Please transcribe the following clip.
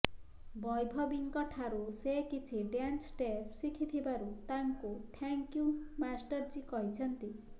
ବୈଭବୀଙ୍କ ଠାରୁ ସେ କିଛି ଡ୍ୟାନ୍ସ ଷ୍ଟେପ ଶିଖିଥିବାରୁ ତାଙ୍କୁ ଥ୍ୟାଙ୍କ ୟୁ ମାଷ୍ଟର ଜୀ କହିଛନ୍ତି